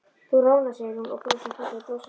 Þú roðnar, segir hún og brosir fallega brosinu sínu.